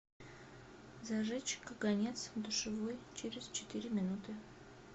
зажечь каганец в душевой через четыре минуты